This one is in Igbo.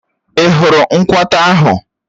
Ị́ hụrụ nkwata ahụ?